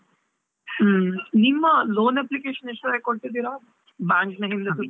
ಹುಮ್ಮ್ ನಿಮ್ಮ loan application ಇಷ್ಟರವರೆಗೆ ಕೊಟ್ಟಿದ್ದೀರಾ? bank .